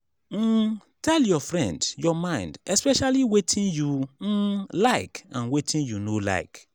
um tell your friend your mind especially wetin you um like and wetin you no like